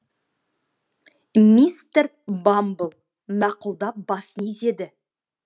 мистер бамбл мақұлдап басын изеді